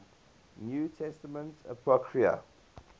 new testament apocrypha